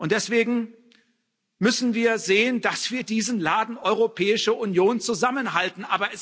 Deswegen müssen wir sehen, dass wir diesen Laden Europäische Union zusammenhalten.